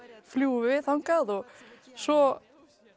fljúgum við þangað og svo